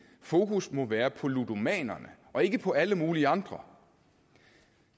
fokus må være på ludomanerne og ikke på alle mulige andre